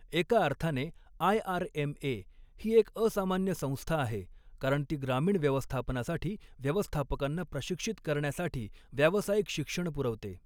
एका अर्थाने आयआरएमए ही एक असामान्य संस्था आहे, कारण ती ग्रामीण व्यवस्थापनासाठी व्यवस्थापकांना प्रशिक्षित करण्यासाठी व्यावसायिक शिक्षण पुरवते.